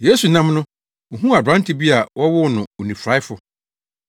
Yesu nam no, ohuu aberante bi a wɔwoo no onifuraefo,